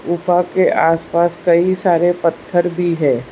गुफा के आसपास कई सारे पत्थर भी है।